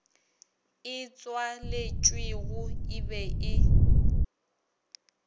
e tswaletšwego e be e